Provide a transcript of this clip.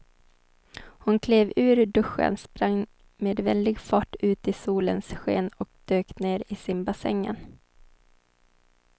Hon klev ur duschen, sprang med väldig fart ut i solens sken och dök ner i simbassängen.